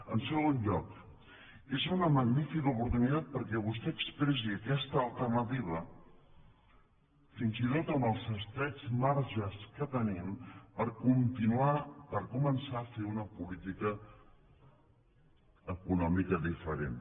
en segon lloc és una magnífica oportunitat perquè vostè expressi aquesta alternativa fins i tot amb els estrets marges que tenim per començar a fer una política econòmica diferent